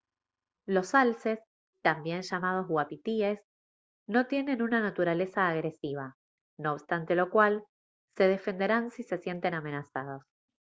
los alces también llamados uapitíes no tienen una naturaleza agresiva no obstante lo cual se defenderán si se sienten amenazados